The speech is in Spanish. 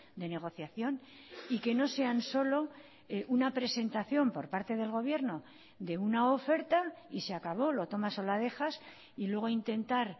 de negociación y que no sean solo una presentación por parte del gobierno de una oferta y se acabó lo tomas o la dejas y luego intentar